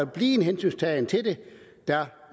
blive en hensyntagen til det der